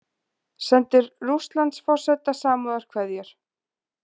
Sendir Rússlandsforseta samúðarkveðjur